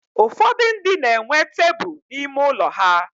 ụfọdụ ndị na-enwe tebụl n'ime ụlọ ha.